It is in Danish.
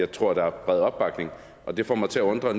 tror at der er bred opbakning og det får mig til at undre